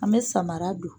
An bɛ samara don